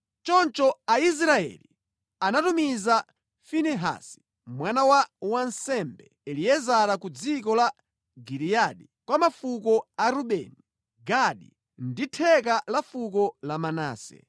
Choncho Aisraeli anatumiza Finehasi mwana wa wansembe, Eliezara ku dziko la Giliyadi kwa mafuko a Rubeni, Gadi ndi theka la fuko la Manase.